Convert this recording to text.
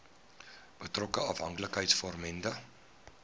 betrokke afhanklikheids vormende